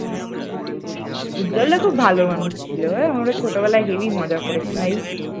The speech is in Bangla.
উজ্জ্বল দা খুব ভালো মানুষ ছিল, বল আমরা ছোটবেলায় খুব heavy মজা করেছি ভাই ।